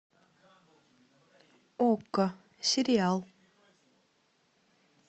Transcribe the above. окко сериал